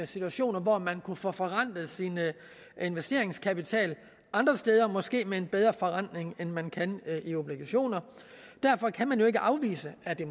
situationer hvor man vil kunne få forrentet sin investeringskapital andre steder måske med en bedre forrentning end man kan i obligationer derfor kan man jo ikke afvise at det